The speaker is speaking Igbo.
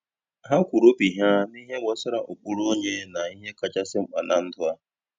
Ha kwuru obi ha nihe gbasara ụkpụrụ onye na ihe kachasị mkpa na ndụ a.